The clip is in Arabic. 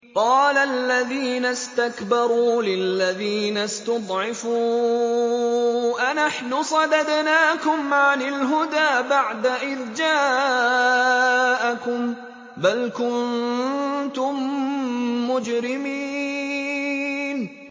قَالَ الَّذِينَ اسْتَكْبَرُوا لِلَّذِينَ اسْتُضْعِفُوا أَنَحْنُ صَدَدْنَاكُمْ عَنِ الْهُدَىٰ بَعْدَ إِذْ جَاءَكُم ۖ بَلْ كُنتُم مُّجْرِمِينَ